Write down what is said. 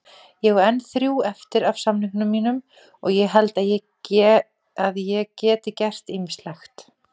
Ég á enn þrjú eftir af samningnum mínum og ég held að ég gert ýmislegt.